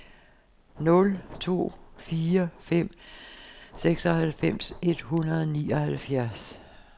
nul to fire fem seksoghalvfems et hundrede og nioghalvfjerds